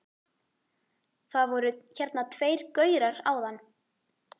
Það voru hérna tveir gaurar áðan.